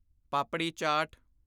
ਪਾਪੜੀ chaat